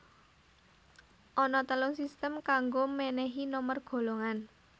Ana telung sistem kanggo mènèhi nomer golongan